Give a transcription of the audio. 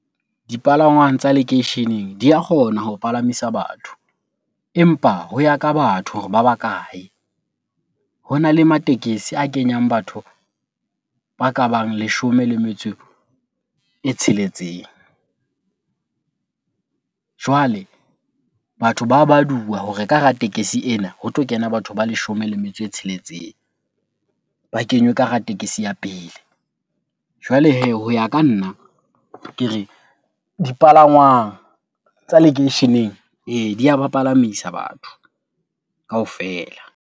Dipalangwang tsa lekeisheneng di a kgona ho palamisa batho empa ho ya ka batho hore ba bakae? Hona le matekesi a kenyang batho ba ka bang leshome le metso e tsheletseng. Jwale batho ba baduwa hore ka hara tekesi ena ho tlo kena batho ba leshome le metso e tsheletseng. Ba kenywe ka hara tekesi ya pele. Jwale hee ho ya ka nna, ke re dipalangwang tsa lekeisheneng ee, di ya ba palamisa batho kaofela.